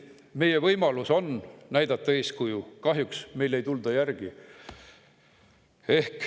Meil on võimalus näidata eeskuju, kahjuks ei tulda meile järgi.